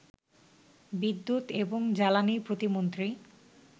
বিদ্যুৎ এবং জ্বালানী প্রতিমন্ত্রী